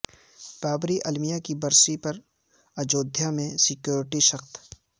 بابری المیہ کی برسی پر اجودھیا میں سیکوریٹی سخت